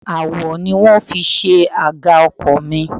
Awọ ni wón fi ṣe àga ọkọ̀ mi.